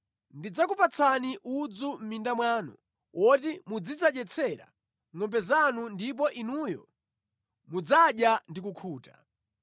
Ndidzakupatsani udzu mʼminda mwanu woti muzidzadyetsera ngʼombe zanu ndipo inuyo mudzadya ndi kukhuta.